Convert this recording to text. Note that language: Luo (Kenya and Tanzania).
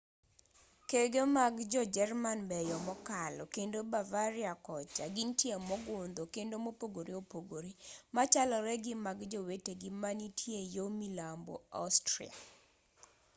kege mag jo-jerman beyo mokalo kendo bavaria kocha gintie mogundho kendo mopogore opogore machalore gi mag jowetegi manitie yo milambo austria